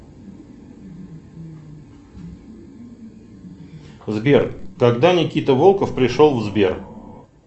сбер когда никита волков пришел в сбер